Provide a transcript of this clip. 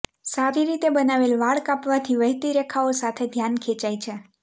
સારી રીતે બનાવેલ વાળ કાપવાથી વહેતી રેખાઓ સાથે ધ્યાન ખેંચાય છે